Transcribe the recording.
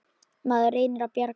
Maður reynir að bjarga sér.